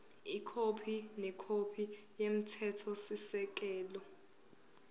ikhophi nekhophi yomthethosisekelo